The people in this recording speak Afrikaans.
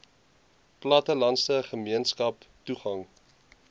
plattelandse gemeenskappe toegang